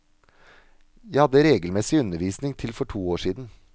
Jeg hadde regelmessig undervisning til for to år siden.